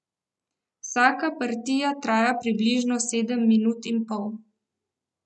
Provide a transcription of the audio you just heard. Vsaka partija traja približno sedem minut in pol.